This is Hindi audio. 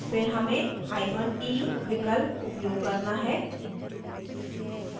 फिर हमें hyphen e विकल्प उपयोग करना है